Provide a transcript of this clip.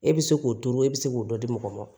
E bɛ se k'o to e bɛ se k'o dɔ di mɔgɔ ma